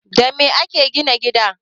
Da me ake gina gida?